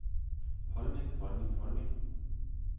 holdning holdning holdning